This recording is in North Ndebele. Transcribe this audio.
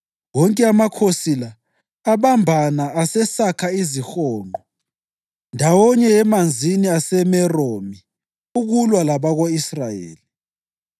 Izizukulwane zonke zikaKhohathi zabelwa amadolobho alitshumi kuzinsendo zezizwana zako-Efrayimi, ezakoDani lengxenye yakoManase.